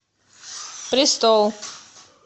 престол